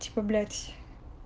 типо блять